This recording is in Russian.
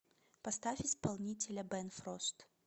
поставь исполнителя бэн фрост